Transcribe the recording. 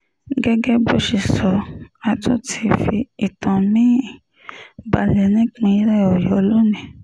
gẹ́gẹ́ bó ṣe sọ a tún ti fi ìtàn mi-ín balẹ̀ nípìnlẹ̀ ọ̀yọ́ lónìí